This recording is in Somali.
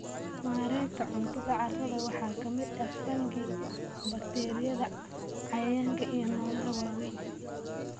Mareegta cuntada carrada waxaa ka mid ah fungi, bakteeriyada, cayayaanka iyo noolaha waaweyn.